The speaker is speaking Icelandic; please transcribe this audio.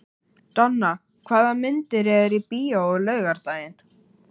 Donna, hvaða myndir eru í bíó á laugardaginn?